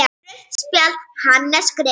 Rautt spjald: Hannes Grimm.